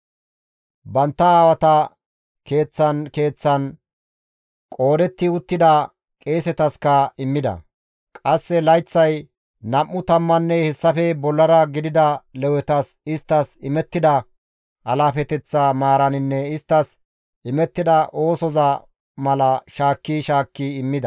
Bantta aawata keeththan keeththan qoodetti uttida qeesetaska immida; qasse layththay nam7u tammanne hessafe bollara gidida Lewetas isttas imettida alaafeteththa maaraninne isttas imettida oosoza mala shaakki shaakki immida.